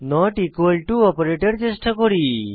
not equal to operator চেষ্টা করি